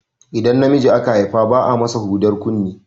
Idan namiji aka Haifa ba a masa hudar kunne